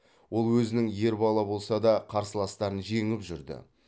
ол өзінің ер бала болса да қарсыластарын жеңіп жүрді